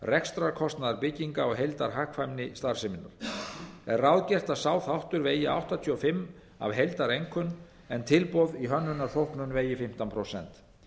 rekstrarkostnaðar bygginga og heildarhagkvæmni starfseminnar er ráðgert að sá þáttur vegi áttatíu og fimm prósent af heildareinkunn en tilboð í hönnunarþóknun vegi fimmtán prósent